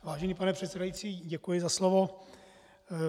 Vážený pane předsedající, děkuji za slovo.